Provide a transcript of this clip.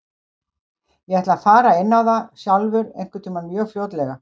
Ég ætla að fara inn á það sjálfur einhvern tíma mjög fljótlega.